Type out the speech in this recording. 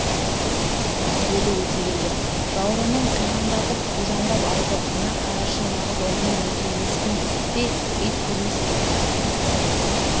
деді өтегелді жауырынын қиқандатып қужандап алды мына қарашы нағыз ұрының өзі емеспін пе ит көрмес дейтін